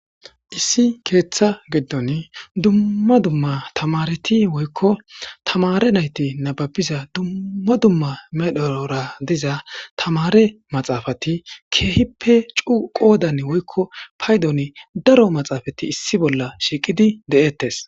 issi keeththa giddon dumma dumma tamareti woykko tamare nayti nababiza dumma dumma medhoora diza tamare maxaafati keehippe co qoodan woykko paydon daro maxaafati issi bolla shiiqidi de'eettes